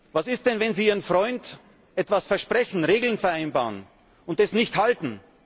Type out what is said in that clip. Was ist denn, wenn Sie Ihrem Freund etwas versprechen, Regeln vereinbaren, und das nicht halten?